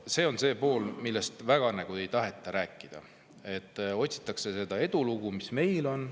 See on see pool, millest väga ei taheta rääkida, otsitakse seda edulugu, mis meil on.